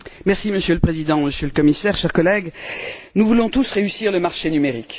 Monsieur le Président, Monsieur le Commissaire, chers collègues, nous voulons tous réussir le marché numérique.